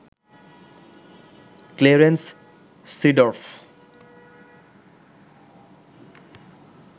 Clarence Seedorf